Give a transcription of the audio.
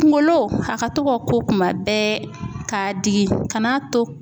Kunkolo a ka tɔ ka ko kuma bɛɛ ka digi ka n'a to